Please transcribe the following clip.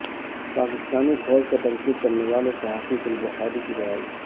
پاکستانی فوج پر تنقید کرنے والی صحافی گل بخاری کی رہائی